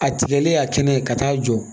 A tigɛlen y'a kɛnɛ ka taa jɔ